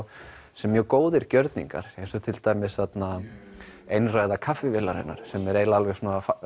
sem mjög góðir gjörningar eins og til dæmis þarna einræða sem er eiginlega alveg